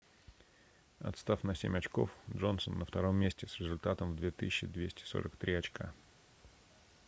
отстав на семь очков джонсон на втором месте с результатом в 2243 очка